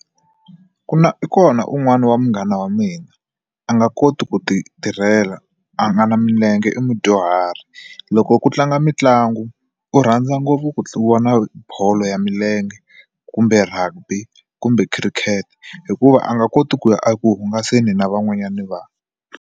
Ku na i kona un'wana wa munghana wa mina a nga koti ku ti tirhela a nga na milenge i mudyuhari loko ku tlanga mitlangu u rhandza ngopfu ku vona bolo ya milenge kumbe rugby kumbe khirikete hikuva a nga koti ku ya eku hungasa ni na van'wanyana vanhu.